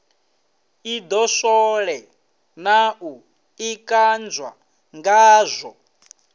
ḓidoswole na u ḓikanzwa ngazwo